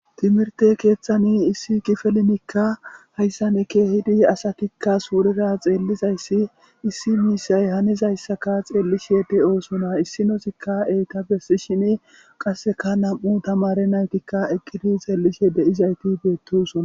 timirte keeththani issi kifilenkahayssanke hidi asatikka suurera xeellizayssi issi miisay hanizayssaka xeellishede oosona issinosikka eyta bessi shini qasseka nam7u tamare naytikka eqqidi xeellishe deyizayti beettosona